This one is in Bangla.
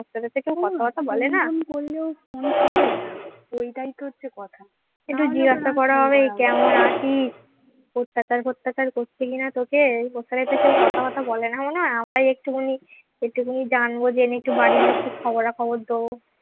অত্যাচার ফত্যাচার করছে নাকি তোকে তোর সাথে তো কেউ কথা টথা বলে না মনে হয় আমরাই একটুখানি একটুখানি জানবো জেনে একটু বাড়ির লোককে খবরা খবর দেবো।